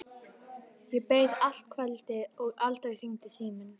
Ég beið allt kvöldið og aldrei hringdi síminn.